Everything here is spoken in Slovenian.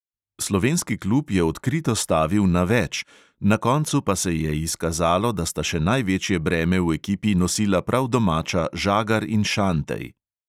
Slovenski klub je odkrito stavil na več, na koncu pa se je izkazalo, da sta še največje breme v ekipi nosila prav domača žagar in šantej.